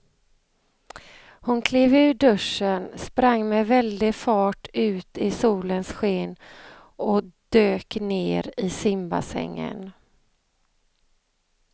Hon klev ur duschen, sprang med väldig fart ut i solens sken och dök ner i simbassängen.